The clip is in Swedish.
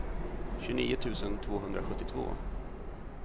tjugonio tusen tvåhundrasjuttiotvå